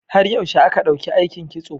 Har yaushe aka ɗauki aikin Kitso?